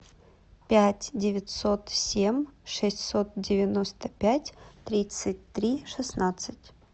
пять девятьсот семь шестьсот девяносто пять тридцать три шестнадцать